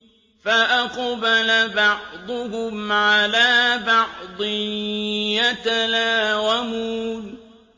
فَأَقْبَلَ بَعْضُهُمْ عَلَىٰ بَعْضٍ يَتَلَاوَمُونَ